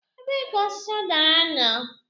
Ebee ka osisi udara nọ?